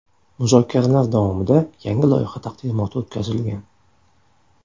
Muzokaralar davomida yangi loyiha taqdimoti o‘tkazilgan.